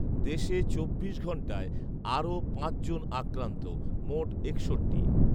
দেশে চব্বিশ ঘণ্টায় আরও পাঁচ জন আক্রান্ত, মোট একষট্টি